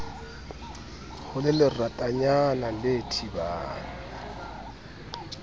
ho le leratanyana le thibang